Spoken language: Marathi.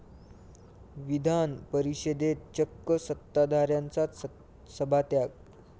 विधान परिषदेत चक्क सत्ताधाऱ्यांचाच सभात्याग